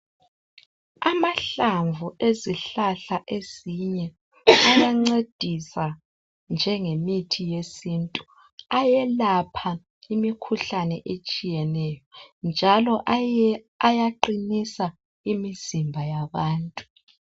Amahlamvu ezihlahla ezinye ayancedisa njengemethi yesintu ayelapha imikhuhlane etshiyeneyo njalo ayaqinisa imizimba yabantu